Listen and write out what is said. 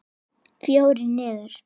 Fjórir niður.